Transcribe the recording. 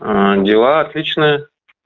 а дела отличные